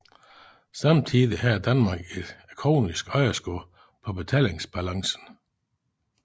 Samtidig havde Danmark et kronisk underskud på betalingsbalancen